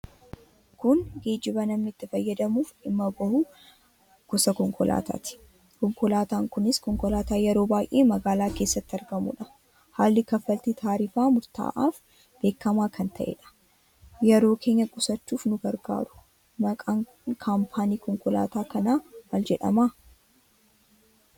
Kun geejiba namni ittin fayyadamuuf dhimma bahuu gosa konkolaatati. Konkolaatan kunis konkolaata yeroo baay'ee magaala keessatti argamudha. Haalli kaffalti tarifaa murta'af beekama kan taheedha. Yeroo keenya qusachuuf nu gargaaru. Maqaan kampaanii konkolaata kanaa maal jedhama?